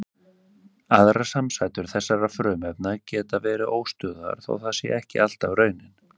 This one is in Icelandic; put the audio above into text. Aðrar samsætur þessara frumefna geta verið óstöðugar þó það sé ekki alltaf raunin.